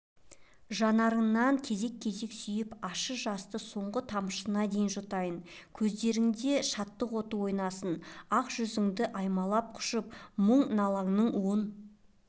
жанарыңнан кезек сүйіп ащы жасты соңғы тамшысына дейін жұтайын көздеріңде шаттық оты ойнасын ақ жүзіңді аймалап-құшып мұң-наланың уын